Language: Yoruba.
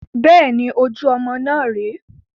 Bẹ́ẹ̀ni, ojú ọmọ náà rè é